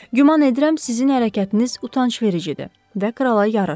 Güman edirəm sizin hərəkətiniz utancvericidir və krala yaraşmır.